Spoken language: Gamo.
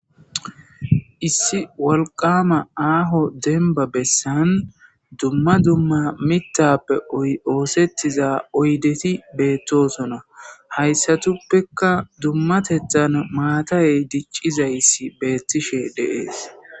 Issi walqama aaho denba bessan dumma dumma mitappe oosettiza oydeti beettosona hayssatuppeka dummatethan maatayey diccizayssi beettishe deees